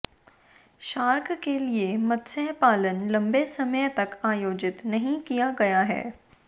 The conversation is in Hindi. शार्क के लिए मत्स्य पालन लंबे समय तक आयोजित नहीं किया गया है